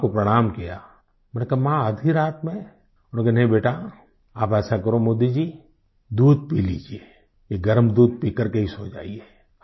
मैंने माँ को प्रणाम किया मैंने कहा माँ आधी रात में बोले कि नहीं बेटा आप ऐसा करो मोदी जी दूध पी लीजिए ये गर्म दूध पीकर के ही सो जाइए